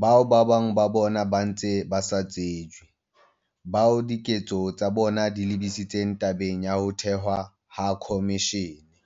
bao bang ba bona ba ntseng ba sa tsejwe, bao diketso tsa bona di lebisitseng tabeng ya ho thehwa ha khomishene.